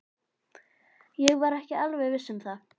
Ég var ekki alveg viss um það.